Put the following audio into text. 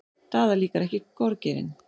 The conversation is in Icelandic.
Daða líkar ekki gorgeirinn.